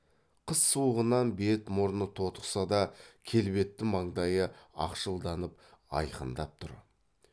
қыс суығынан бет мұрны тотықса да келбетті маңдайы ақшылданып айқындап тұр